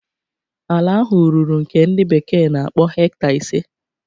Ala ahụ ruru nke ndi bekee na-akpọ hecta ise.